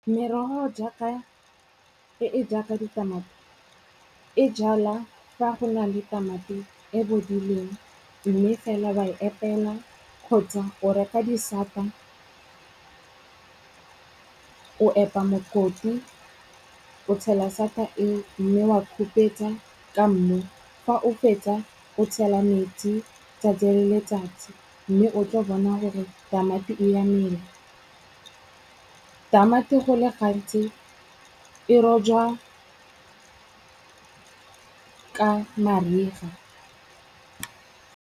Merogo e e jaaka ditamati, e jala fa go na le tamati e bodileng mme fela ba e epela kgotsa o reka disata o epa mokoti o tshela sata e mme wa khupetsa ka mmu. Fa o fetsa, o tshela metsi 'tsatsi le letsatsi. Mme o tlo bona hore tamati e a mela. Tamati go le gantsi e rojwa ka mariga.